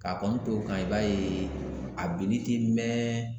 K'a kɔni to o kan i b'a ye a binni ti mɛn.